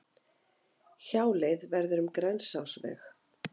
Hjáleið verður um Grensásveg